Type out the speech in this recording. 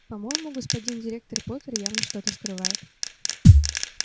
по-моему господин директор поттер явно что-то скрывает